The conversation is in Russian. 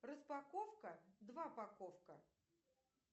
распаковка два паковка